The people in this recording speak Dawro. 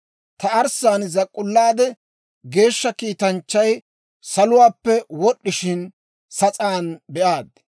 «Ta arssaan zak'k'ullaade, geeshsha kiitanchchay saluwaappe wod'd'ishin sas'aan be'aad.